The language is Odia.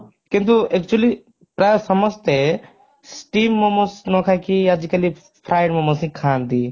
କିନ୍ତୁ actually ପ୍ରାୟ ସମସ୍ତେ steam momos ନ ଖାଇକି ଆଜି କାଲି fried momos ହି ଖାଆନ୍ତି।